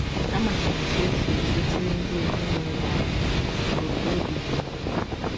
Ama m ọtụ esi ezọchiri ndị ezinụlọ anyị ọtụ ọbi dị m.